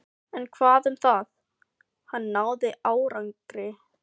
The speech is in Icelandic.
En hvað um það: hann náði árangri.